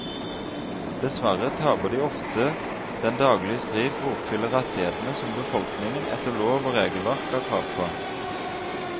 Dessverre taper de ofte den daglige strid for å oppfylle rettighetene som befolkningen etter lov og regelverk har krav på.